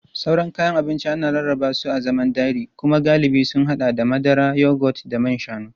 Sauran kayan abinci ana rarraba su a zaman dairy kuma galibi sun haɗa da madara, yogurt da man shanu.